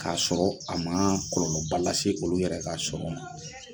K'a sɔrɔ a ma kɔlɔolɔ ba lase olu yɛrɛ ka sɔrɔ ma.